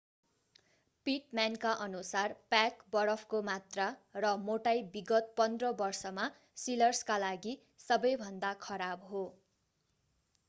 पिटम्यानका अनुसार प्याक बरफको मात्रा र मोटाई विगत 15 वर्षमा सिलर्सका लागि सबैभन्दा खराब हो